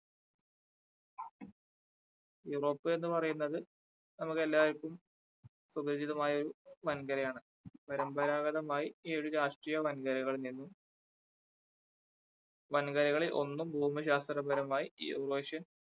Europe എന്ന് പറയുന്നത് നമുക്കെല്ലാവർക്കും സുപരിചിതമായ ഒരു വൻകരയാണ് പരമ്പരാഗതമായി ഈ ഒരു വൻകരകളിൽ നിന്നും വൻകരകളിൽ ഒന്ന് ഭൂമി ശാസ്ത്രപരമായി ഈ ഒരു പക്ഷേ